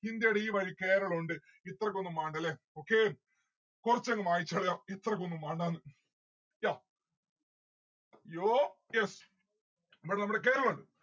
ഇന്ത്യയുടെ ഈ വഴി കേരളം ഉണ്ട് ഇത്രക്കൊന്നും മാണ്ട ല്ലേ okay കൊറച്ചങ് മായ്ച്ച് കളയാം. ഇത്രക്കൊന്നും മാണ്ടാന്ന് yeah. yo. yeas മ്മിടെ നമ്മളെ കേരളം ഉണ്ട്.